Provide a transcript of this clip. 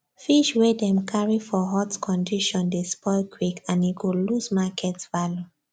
fish wey dem carry for hot condition dey spoil quick and e go lose market value